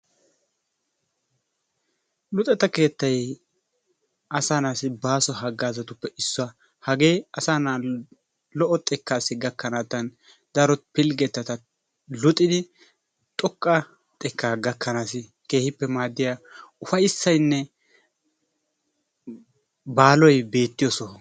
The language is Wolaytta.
Luxetta keettay asaanaassi baaso haggaazzatuppe issuwa. Hagee asaa naa'ay lo'o xekkaassi gakkanaattan daro pilggettata luxidi xoqqa xekkaa gakkanaassi keehippe maaddiya ufayissayinne baaloy beettiyo soho.